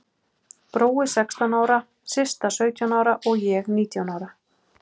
Brói sextán ára, Systa sautján ára og ég nítján ára.